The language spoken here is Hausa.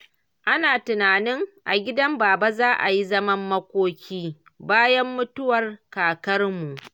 Ana tunanin a gidan Baba za a yi zaman makoki, bayan mutuwar Kakanmu.